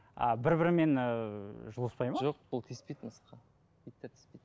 а бір бірімен ыыы жұлыспайды ма жоқ ол тиіспейді мысыққа иттер тиіспейді